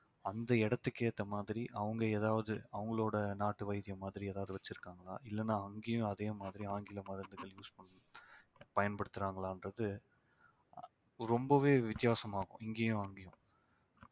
அந்த இடத்துக்கு ஏத்த மாதிரி அவங்க ஏதாவது அவங்களோட நாட்டு வைத்தியம் மாதிரி ஏதாவது வச்சிருக்காங்களா இல்லைன்னா அங்கேயும் அதே மாதிரி ஆங்கில மருந்துகள் use பண்ணி பயன்படுத்துறாங்களான்றது ரொம்பவே வித்தியாசமாகும் இங்கேயும் அங்கேயும்